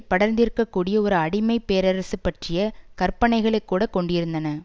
படர்ந்திருக்கக்கூடிய ஒரு அடிமைப் பேரரசு பற்றிய கற்பனைகளை கூட கொண்டியிருந்தன